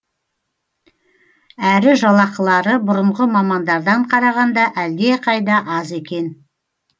әрі жалақылары бұрынғы мамандардан қарағанда әлдеқайда аз екен